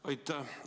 Aitäh!